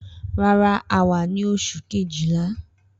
Rara, a wa ni oṣu Kejìlá